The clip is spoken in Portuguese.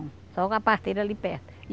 Só com a parteira ali perto.